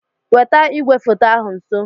Weta igwefoto ahụ nso.